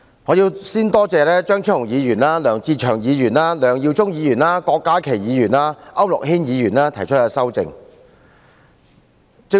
我首先感謝張超雄議員、梁志祥議員、梁耀忠議員、郭家麒議員及區諾軒議員提出修正案。